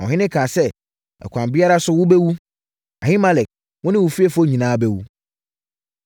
Na ɔhene kaa sɛ, “Ɛkwan biara so, wobɛwu. Ahimelek, wo ne wo fiefoɔ nyinaa bɛwu.”